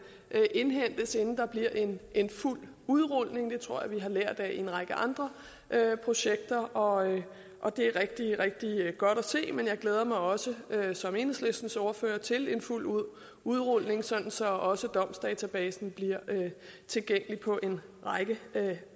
indhentes inden der bliver en fuld udrulning det tror jeg vi har lært af en række andre projekter og og det er rigtig rigtig godt at se men jeg glæder mig også som enhedslistens ordfører til en fuld udrulning så også domsdatabasen bliver tilgængelig på en række